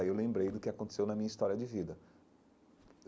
Aí eu lembrei do que aconteceu na minha história de vida.